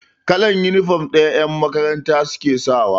Kalan inifom ɗaya yan makaranta suke sawa